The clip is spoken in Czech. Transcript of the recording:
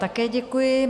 Také děkuji.